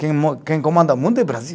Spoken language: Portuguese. Quem mo, quem comanda mundo é Brasil.